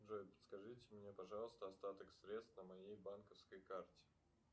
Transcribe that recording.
джой подскажите мне пожалуйста остаток средств на моей банковской карте